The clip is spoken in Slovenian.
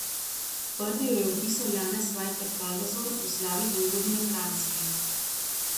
Prvi jo je opisal Janez Vajkard Valvazor v Slavi vojvodine Kranjske.